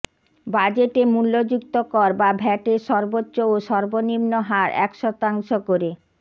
বাজেটে মূল্যযুক্ত কর বা ভ্যাটের সর্বোচ্চ ও সর্বনিম্ন হার এক শতাংশ করে